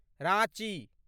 Ranchi